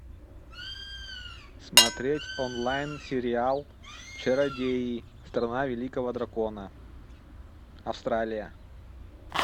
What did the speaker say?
смотреть онлайн сериал чародеи страна великого дракона австралия